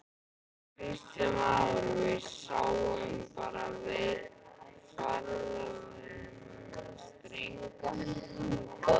Kristján Már: Við sjáum bara ferðamennina streyma hingað?